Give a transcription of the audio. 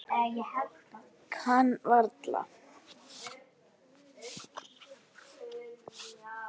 Kann varla.